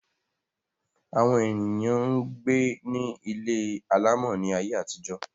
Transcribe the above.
Àwọn èèyàn gbé ní ilé alàmọ̀ ní ayé àtijó